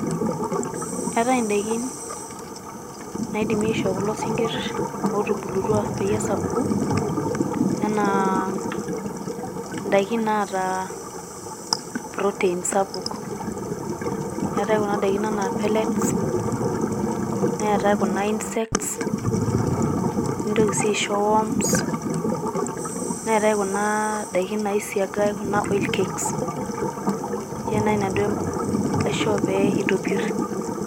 Eetae indaikin naidimi aishoo kulo sinkir otubulutua peyie esapuku enaa ndaikin naata proteins sapuk . eetae kuna daikin anaa pellets netae kuna insects nintoki si aisho worms neetae kuna daikin naisigae kuna oil cakes ninche naji nanu aidim aishoo peyie itopir.